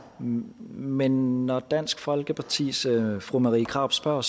men når dansk folkepartis fru marie krarup spørger